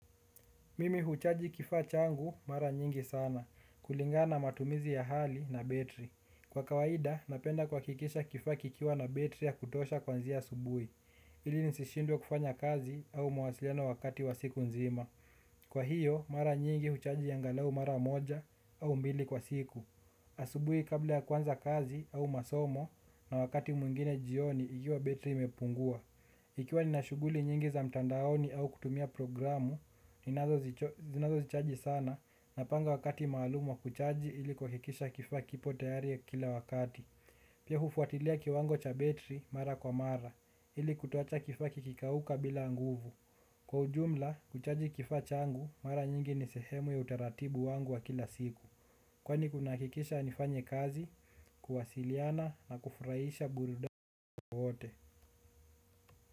Mimi huchaji kifaa changu mara nyingi sana, kulingana na matumizi ya hali na betri. Kwa kawaida, napenda kuakikisha kifaa kikiwa na betri ya kutosha kuanzia asubui, ili nisishindwe kufanya kazi au mawasiliano wakati wa siku nzima. Kwa hiyo, mara nyingi huchaji angalau mara moja au mbili kwa siku. Asubui kabla ya kuanza kazi au masomo na wakati mwingine jioni ikiwa betri imepungua. Ikiwa nina shuguli nyingi za mtandaoni au kutumia programu, zinazo zichaji sana napanga wakati maalumu wa kuchaji ili kuakikisha kifaa kipo tayari kila wakati. Pia hufuatilia kiwango cha betri mara kwa mara, ili kutoacha kifaa kikikauka bila nguvu. Kwa ujumla, kuchaji kifaa changu mara nyingi ni sehemu ya utaratibu wangu wa kila siku. Kwani kunaakikisha nifanye kazi, kuwasiliana na kufurahisha burudani kwa wote.